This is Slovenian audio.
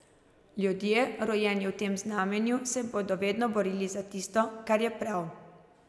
Ljudje, rojeni v tem znamenju, se bodo vedno borili za tisto, kar je prav.